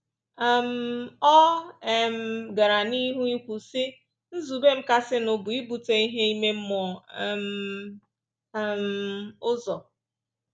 um Ọ um gara n’ihu ikwu, sị: “Nzube m kasịnụ bụ ibute ihe ime mmụọ um um ụzọ.